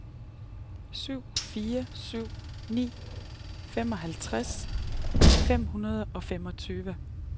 syv fire syv ni femoghalvtreds fem hundrede og femogtyve